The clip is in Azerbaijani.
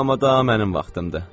Amma daha mənim vaxtımdır.